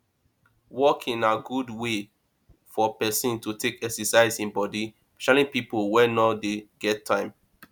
walking na good wey for person to take exercise im body especially pipo wey no dey get time